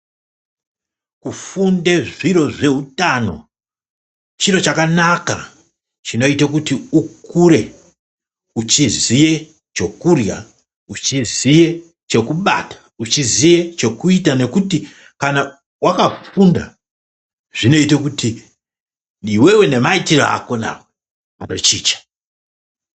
Kufunde zviro zveutano chiro chakanaka chinoite kuti ukure weiziye chokurya uchiziye chokubata uchiziye chokuita nokuti kana wakafunda zvinoite kuti iwewe nemaitire ako anochicha.